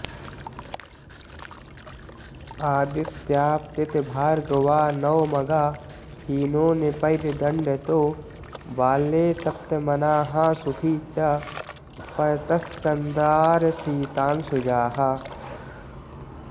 आदित्याप्तितभार्गवा नवमगा हीनो नृपैर्दण्डतो बाल्ये तप्तमनाः सुखी च परतश्चन्द्रारशीतांशुजाः